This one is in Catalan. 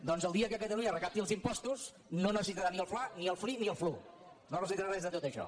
doncs el dia que catalunya recapti els impostos no necessitarà ni el fla ni el fli ni el flu no necessitarà res de tot això